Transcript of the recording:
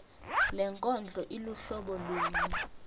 lenkondlo iluhlobo luni